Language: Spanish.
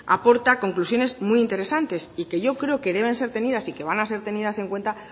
aporta conclusiones muy interesantes y que yo creo que deben ser tenidas y que van a ser tenidas en cuenta